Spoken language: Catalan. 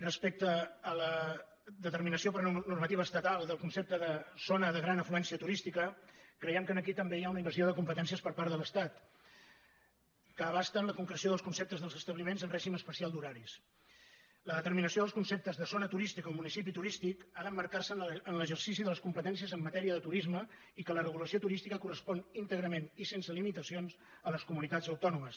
respecte a la determinació per normativa estatal del concepte de zona de gran afluència turística creiem que aquí també hi ha una invasió de competències per part de l’estat que abasta la concreció dels conceptes dels establiments en règim especial d’horaris la determinació dels conceptes de zona turística o municipi turístic ha d’emmarcar se en l’exercici de les competències en matèria de turisme i que la regulació turística correspon íntegrament i sense limitacions a les comunitats autònomes